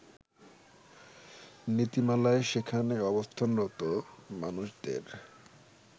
নীতিমালায় সেখানে অবস্থানরত মানুষদের